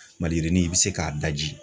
Maliyirinin, i bi se k'a daji